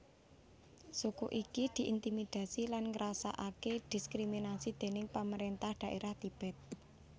Suku iki diintimidasi lan ngrasakake diskriminasi déning pamarentah dhaerah Tibet